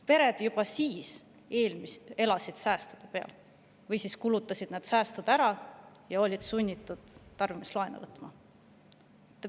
Pered elasid juba siis säästude peal või kulutasid säästud ära ja olid sunnitud tarbimislaenu võtma.